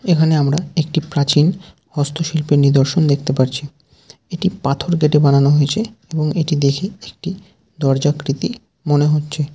এখানে আমরা একটি প্রাচীন হস্তশিল্পী নিদর্শন দেখতে পারছি । এটি পাথর কেটে বানানো হয়েছে এবং এটি দেখে একটি দরজা কৃতি মনে হচ্ছে।